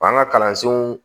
An ka kalansenw